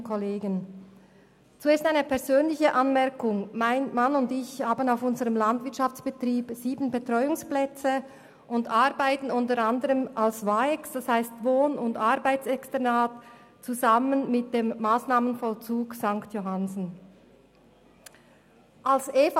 Zuerst eine persönliche Anmerkung: Mein Mann und ich bieten auf unserem Landwirtschaftsbetrieb sieben Betreuungsplätze an und arbeiten unter anderem als Wohn- und Arbeitsexternat (WAEX) mit dem Massnahmenvollzug St. Johannsen zusammen.